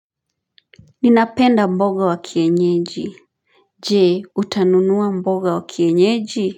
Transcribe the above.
Ninapenda mboga wa kienyeji Jee, utanunuwa mboga wa kienyeji?